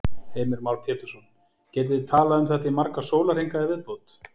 Heimir Már Pétursson: Getið þið talað um þetta í marga sólarhringa í viðbót?